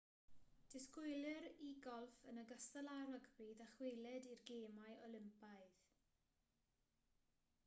disgwylir i golff yn ogystal â rygbi ddychwelyd i'r gemau olympaidd